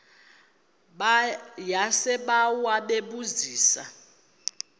yasebawa bebu zisa